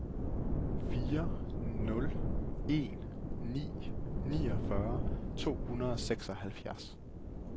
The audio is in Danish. fire nul en ni niogfyrre to hundrede og seksoghalvfjerds